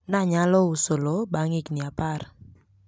nilifaulu kuuza shamba baada ya miaka kumi